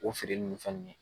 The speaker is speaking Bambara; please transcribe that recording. O feere ni fɛn ninnu ye.